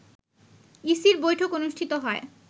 ইসির বৈঠক অনুষ্ঠিত হয়